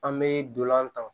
An bɛ dolan tan